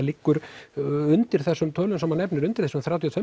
liggur undir þessum tölum sem hann nefnir undir þessum þrjátíu og